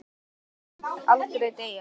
Sá orðstír mun aldrei deyja.